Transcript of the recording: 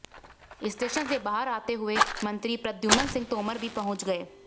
station से बाहर आते हुए मंत्री प्रद्युम्न सिंह तोमर भी पहुंच गए